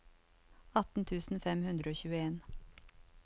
atten tusen fem hundre og tjueen